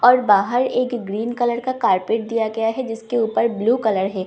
और बाहर एक ग्रीन कलर का कारपेट दिया गया है जिसके ऊपर ब्लू कलर है।